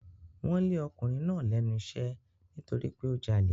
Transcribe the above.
Wọ́n lé ọkùnrin náà lẹ́nu iṣẹ́ nítorí pé ó jalè.